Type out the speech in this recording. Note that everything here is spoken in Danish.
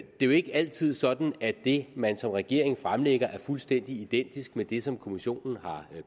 jo ikke altid sådan at det man som regering fremlægger er fuldstændig identisk med det som kommissionen har